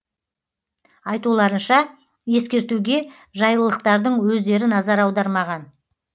айтуларынша ескертуге жайлылықтардың өздері назар аудармаған